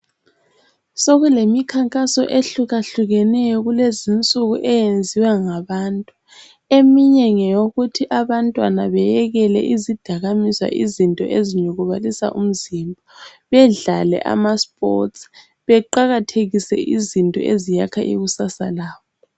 Sokulemikhankaso ehlukahlukeneyo kulezulu eyenziwa ngabantu eminye ngeyokuthi abantwana beyekele izidakamizwa izinto ezinyukubalisa umzimba bedlale amasports beqakathekise izinto eziyakha ikusasa labo.